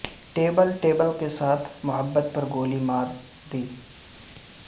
table table کے ساتھ محبت پر گولی مار دی